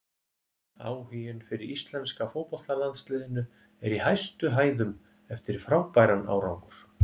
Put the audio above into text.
Áhuginn fyrir íslenska fótboltalandsliðinu er í hæstu hæðum eftir frábæran árangur.